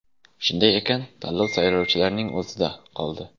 Shunday ekan, tanlov saylovchilarning o‘zida qoldi.